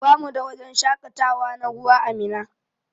Bamu da wajen shakatawa na ruwa ã Minna.